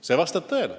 See vastab tõele.